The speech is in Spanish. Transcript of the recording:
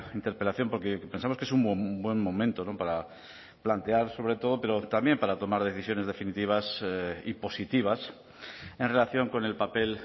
interpelación porque pensamos que es un buen momento para plantear sobre todo pero también para tomar decisiones definitivas y positivas en relación con el papel